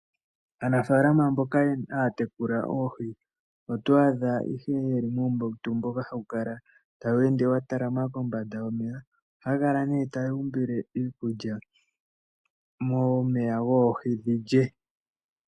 Aafaalama mboka ha ya tekula oohi, oto adha ihe ye li muumbautu mboka ha wu kala tawu ende watalama kombada yomeya. Oha ya kala nee taya umbile iikulya momeya goohi dhilye.